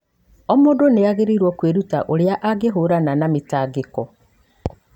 O mũndũ nĩ agĩrĩirũo kwĩruta ũrĩa angĩhiũrania na mĩtangĩko.